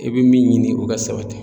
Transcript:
I bɛ min ɲini o ka sabati.